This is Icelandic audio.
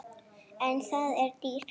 En það er dýrt.